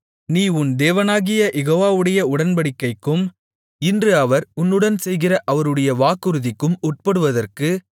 நீ உன் தேவனாகிய யெகோவாவுடைய உடன்படிக்கைக்கும் இன்று அவர் உன்னுடன் செய்கிற அவருடைய வாக்குறுதிக்கும் உட்படுவதற்கு